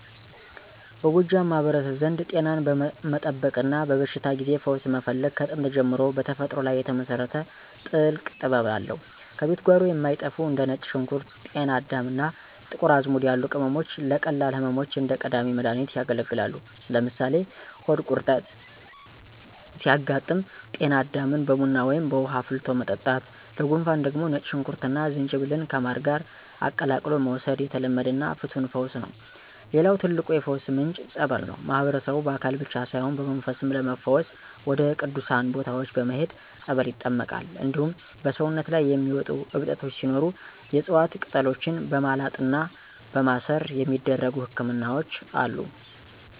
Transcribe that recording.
በጎጃም ማህበረሰብ ዘንድ ጤናን መጠበቅና በበሽታ ጊዜ ፈውስ መፈለግ ከጥንት ጀምሮ በተፈጥሮ ላይ የተመሰረተ ጥልቅ ጥበብ አለው። ከቤት ጓሮ የማይጠፉ እንደ ነጭ ሽንኩርት፣ ጤና አዳም እና የጥቁር አዝሙድ ያሉ ቅመሞች ለቀላል ህመሞች እንደ ቀዳሚ መድሃኒት ያገለግላሉ። ለምሳሌ ሆድ ቁርጠት ሲያጋጥም ጤና አዳምን በቡና ወይም በውሃ አፍልቶ መጠጣት፣ ለጉንፋን ደግሞ ነጭ ሽንኩርትና ዝንጅብልን ከማር ጋር ቀላቅሎ መውሰድ የተለመደና ፍቱን ፈውስ ነው። ሌላው ትልቁ የፈውስ ምንጭ "ፀበል" ነው። ማህበረሰቡ በአካል ብቻ ሳይሆን በመንፈስም ለመፈወስ ወደ ቅዱሳን ቦታዎች በመሄድ በፀበል ይጠመቃል። እንዲሁም በሰውነት ላይ የሚወጡ እብጠቶች ሲኖሩ የዕፅዋት ቅጠሎችን በማላጥና በማሰር የሚደረጉ ህክምናዎች አሉ።